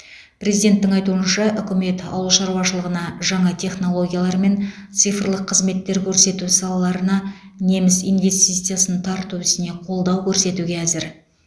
президенттің айтуынша үкімет ауыл шаруашылығына жаңа технологиялар мен цифрлық қызметтер көрсету салаларына неміс инвестициясын тарту ісіне қолдау көрсетуге әзір